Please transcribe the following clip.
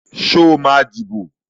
Ṣé ó máa dìbò?